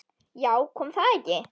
Já, kom það ekki!